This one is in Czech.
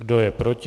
Kdo je proti?